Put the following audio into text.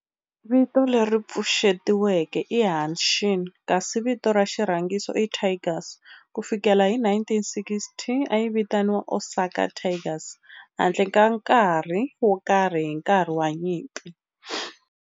Vito leri pfuxetiweke i Hanshin kasi vito ra xirhangiso i Tigers. Ku fikela hi 1960, a yi vitaniwa Osaka Tigers handle ka nkarhi wo karhi hi nkarhi wa nyimpi.